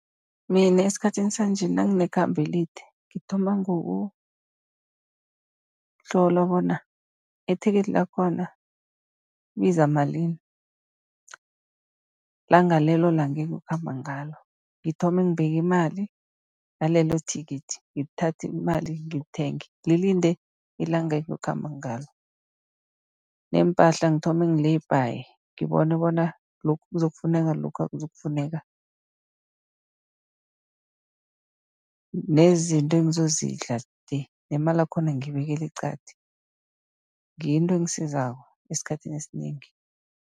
Mina esikhathini sanje nanginekhambo elide, ngithoma ngokutlola bona ithikithi lakhona libiza malini, langa lelo langa engiyokukhamba ngalo. Ngithome ngibeke imali, yalelo thikithi, ngithathe imali ngilithenge lilinde ilanga engiyokukhamba ngalo. Neempahla ngithome ngi-lay bhaye ngibone bona lokhu kuzokufuneka, lokhu akuzukufuneka. Nezinto engizozidla le, nemali yakhona ngiyibekela eqadi. Ngiyo into engisizako esikhathini esinengi.